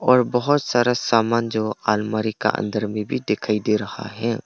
और बहुत सारा सामान जो अलमारी का अंदर में भी दिखाई दे रहा है।